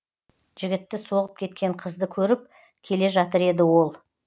жігітті соғып кеткен қызды көріп келе жатыр еді ол